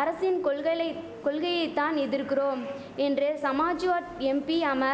அரசின் கொள்களைத் கொள்கையை தான் எதிர்கிறோம் என்று சமாஜ்வாட் எம்பி அம